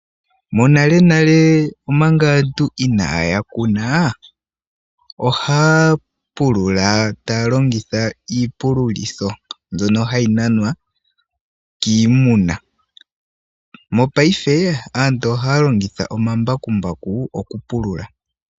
Monalenale manga antu inaya kuna, ohaya pulula taya longitha iipululo mbyono hayi nanwa kiimuna, mongaashingeyi aantu ohaya longitha omambakumbaku oku pulula.